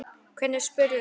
Hvernig spyrðu?